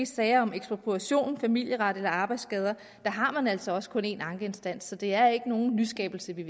sager om ekspropriation familieret eller arbejdsskader har man altså også kun én ankeinstans så det er ikke nogen nyskabelse vi